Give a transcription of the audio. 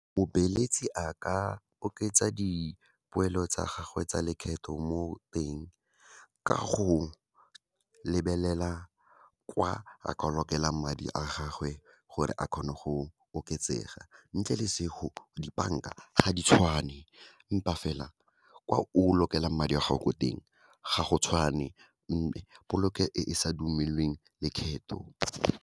Mobeeletsi a ka oketsa dipoelo tsa gagwe tsa lekgetho mo teng, ka go lebelela kwa a ka lokelang madi a gagwe gore a kgone go oketsega. Ntle le , dibanka ga di tshwane empa fela kwa o lokelang madi a gago ko teng, ga go tshwane, polekelo e e sa dumelweng lekgetho.